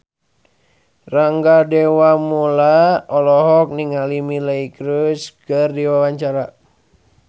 Rangga Dewamoela olohok ningali Miley Cyrus keur diwawancara